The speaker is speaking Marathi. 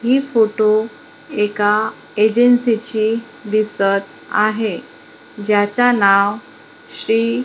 हि फोटो एका एजन्सीचे दिसतं आहे ज्याचा नाव श्री--